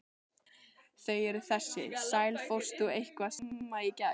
Þau eru þessi: sæl, fórst þú eitthvað snemma í gær?